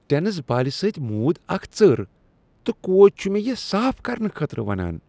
Tennis بالہِ سۭتۍ موٗد اکھ ژر تہٕ کوچ چھ مےٚ یہ صاف کرنہٕ خٲطرٕ ونان۔